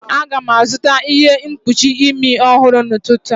Aga m azụta ihe mkpuchi imi ọhụrụ n'ụtụtụ a